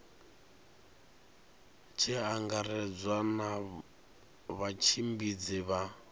tshi angaredzwa na vhatshimbidzi vha